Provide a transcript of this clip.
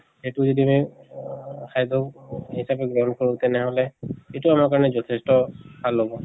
এইটো যদি আমি আহ খাদ্য় হিচাপে গ্ৰহন কৰো তেনেহলে ইটো আমাৰ কাৰণে যথেষ্ট ভাল হব।